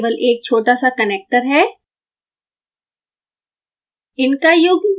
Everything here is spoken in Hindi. जम्पर केवल एक छोटा सा कनेक्टर है